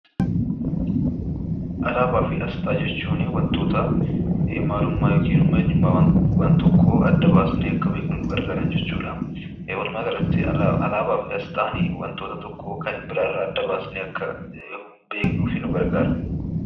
Alaabaa fi aasxaa jechuun wantoota maalummaa yookiin immoo eenyummaa wanta tokkoo adda baafnee akka beeknuuf nu gargaaran jechuudha. Walumaa galatti alaabaa fi aasxaan wantoota tokko wanta biraa irraa adda baafnee akka beeknuuf nu gargaara.